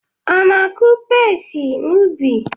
Ana-akụ pesi n’ubi?